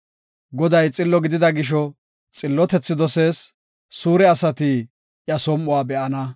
Goday xillo gidida gisho, xillotethi dosees; suure asati iya som7uwa be7ana.